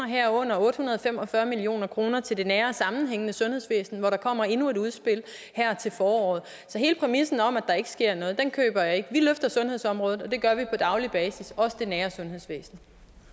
herunder otte hundrede og fem og fyrre million kroner til det nære og sammenhængende sundhedsvæsen hvor der kommer endnu et udspil her til foråret så hele præmissen om at der ikke sker noget køber jeg ikke vi løfter sundhedsområdet og det gør vi på daglig basis også det nære sundhedsvæsen